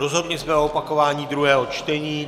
Rozhodli jsme o opakování druhého čtení.